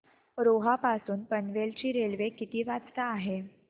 रोहा पासून पनवेल ची रेल्वे किती वाजता आहे